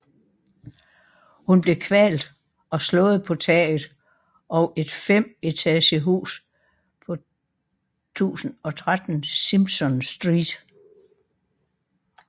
Hun blev kvalt og slået på taget og et 5 etagehus på 1013 Simpson Street